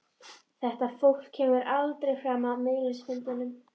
Þetta fólk kemur aldrei fram á miðilsfundum.